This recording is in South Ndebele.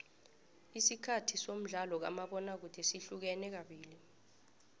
isikhathi somdlalo kamabona kude sihlukene kabili